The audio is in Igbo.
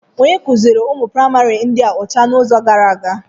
Onye kuziiri ụmụ praịmarị ịdị ọcha n'izu gara aga?